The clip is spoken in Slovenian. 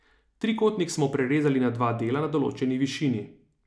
Trikotnik smo prerezali na dva dela na določeni višini.